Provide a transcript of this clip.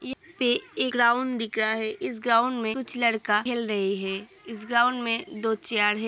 यहाँ पे एक ग्राउंड दिख रहा है | इस ग्राउंड में कुछ लड़का खेल रहे हैं| इस ग्राउंड में दो चेयर है ।